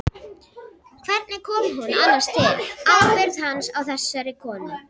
Hvernig kom hún annars til, ábyrgð hans á þessari konu?